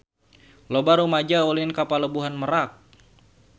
Loba rumaja ulin ka Pelabuhan Merak